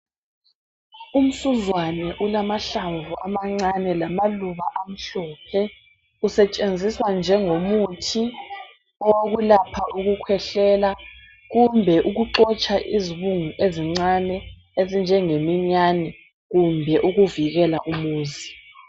Umsuzwane ulamahlamvu amancane, lamaluba amhlophe. Usetshenziswa njengomuthi, owokwelapha ukukhwehlela. Kumbe, ukuxotsha izibungu ezincane. Ezinjengemiyane. Loba ukuvikela umuzi.